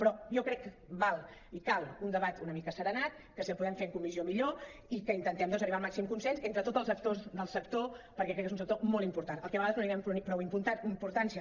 però jo crec que val i cal un debat una mica asserenat que si el podem fer en comissió millor i que intentem arribar al màxim consens entre tots els actors del sector perquè crec que és un sector molt important al que de vegades no li do·nem prou importància